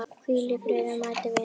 Hvíl í friði mæti vinur.